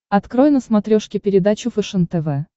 открой на смотрешке передачу фэшен тв